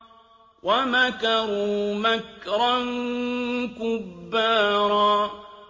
وَمَكَرُوا مَكْرًا كُبَّارًا